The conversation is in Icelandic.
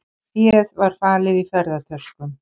Féð var falið í ferðatöskum